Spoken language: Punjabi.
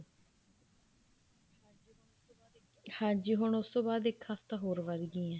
ਹਾਂਜੀ ਹੁਣ ਉਸ ਤੋਂ ਬਾਅਦ ਇੱਕ ਹਫਤਾ ਹੋਰ ਵੱਧਗੀਆਂ